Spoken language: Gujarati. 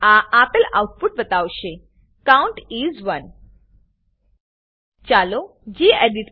આ આપેલ આઉટપુટ બતાવશે કાઉન્ટ ઇસ 1 ચાલો ગેડિટ